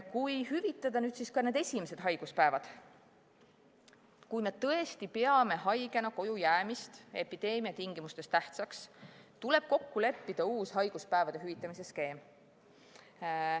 Kui hüvitada nüüd ka need esimesed haiguspäevad, kui me tõesti peame haigena kojujäämist epideemia tingimustes tähtsaks, tuleb kokku leppida uus haiguspäevade hüvitamise skeem.